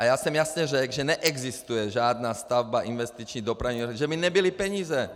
A já jsem jasně řekl, že neexistuje žádná stavba, investiční, dopravní, že by nebyly peníze.